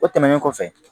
O tɛmɛnen kɔfɛ